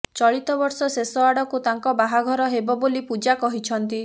ଚଳିତ ବର୍ଷ ଶେଷ ଆଡ଼କୁ ତାଙ୍କ ବାହାଘର ହେବ ବୋଲି ପୂଜା କହିଛନ୍ତି